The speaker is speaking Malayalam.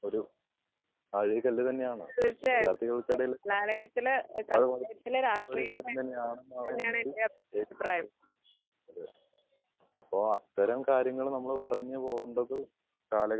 ഒരു തന്നെയാണ് വിദ്യാർഥികൾ ക്കിടയിൽ അ ഒരു കാര്യം തന്നെയാണ് അപ്പോ അത്തരം കാര്യങ്ങൾ നമ്മൾ പറഞ്ഞു പോവുമ്പയ്‌ കാലഘട്ടത്തിന്റ ആവിശ്യം തന്നെയാണ്. കാലഘട്ടത്തിൽ ഇപ്പൊ ജീവിക്കുന്ന കാല